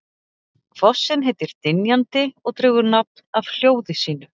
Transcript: Fossinn heitir Dynjandi og dregur nafn af hljóði sínu.